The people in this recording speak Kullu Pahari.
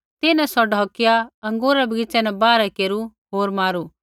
तिन्हैं सौ ढौकिया अँगूरा रै बगीच़ै न बाहरै केरू होर मारू